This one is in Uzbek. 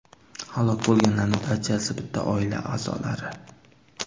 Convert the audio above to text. Halok bo‘lganlarning barchasi bitta oila a’zolari.